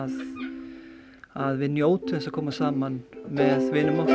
að við njótum að koma saman með vinum okkar